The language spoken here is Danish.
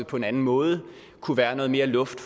på en anden måde kunne være noget mere luft